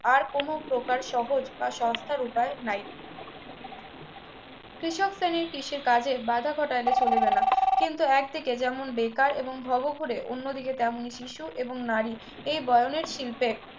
আর কোন প্রকার সহজ বা সস্তার উপায় নাই কৃষক শ্রেণীর কৃষি কাজে বাধা ঘটাইলে চলিবে না কিন্তু একদিকে যেমন বেকার এবং ভবঘুরে অন্যদিকে তেমনি শিশু এবং নারী এই বয়ানের শিল্পে